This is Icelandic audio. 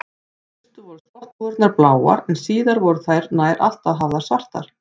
Í fyrstu voru skotthúfurnar bláar en síðar voru þær nær alltaf hafðar svartar.